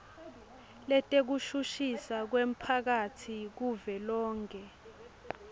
letekushushiswa kwemphakatsi kuvelonkhe